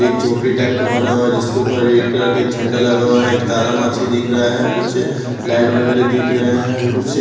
एक झोपड़ी टाइप का बना हुआ है जिसके ऊपर रेड कलर का एक झंडा लगा हुआ है एक तारा मच्छी दिख रहा है कुछ लाइट वगैरह दिख रहे हैं कुछ--